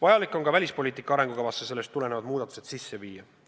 Vajalik on ka välispoliitika arengukavasse sellest tulenevad muudatused sisse viia.